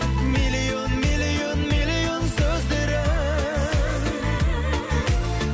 миллион миллион миллион сөздері